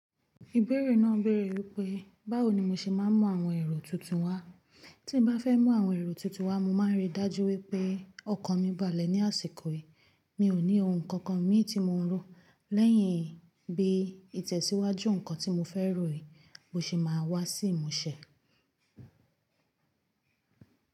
Ìbéèrè náà béèrè wípé, báwo ni mo ṣe máa ń mú àwọn ẹ̀rọ tuntun wá? Tí mo bá fẹ́ mú àwọn ẹ̀rọ tuntun wá, mo máa ń rí i dájú wípé ọkàn mi balẹ̀ ní àsìkò yìí. Mi ò ní ohun kankan mi tí mò ń ró. Lẹ́yìn bí ìtẹ̀síwájú nǹkan tí mo fẹ́ ròyìn, mo sì máa wá sí ìmúṣẹ.